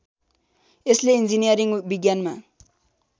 यसले ईन्जिनियरिङ विज्ञानमा